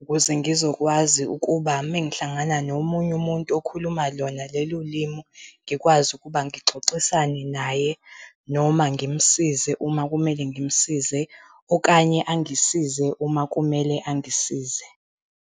Ukuze ngizokwazi ukuba mengihlangana nomunye umuntu okhuluma lona lolu limi, ngikwazi ukuba ngixoxisane naye noma ngimsize uma kumele ngimsize okanye angisize, uma kumele angisize.